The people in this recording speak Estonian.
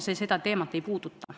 See seda teemat ei puuduta.